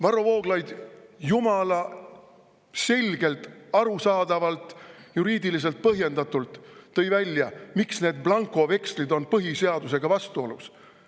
Varro Vooglaid jumala selgelt, arusaadavalt ja juriidiliselt põhjendatult tõi välja, miks need blankovekslid on põhiseadusega vastuolus.